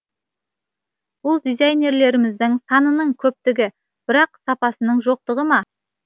бұл дизайнерлеріміздің санының көптігі бірақ сапасының жоқтығы ма